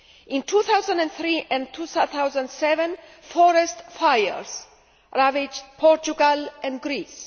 In 2003 and 2007 forest fires ravaged Portugal and Greece.